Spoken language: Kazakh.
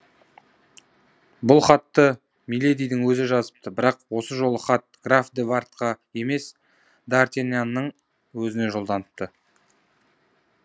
бұл хатты миледидің өзі жазыпты бірақ осы жолы хат граф де вардқа емес д артиньянның өзіне жолданыпты